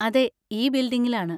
അതെ, ഈ ബിൽഡിങ്ങിലാണ്.